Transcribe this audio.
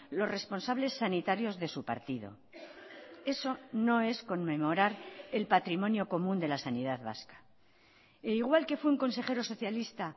los responsables sanitarios de su partido eso no es conmemorar el patrimonio común de la sanidad vasca e igual que fue un consejero socialista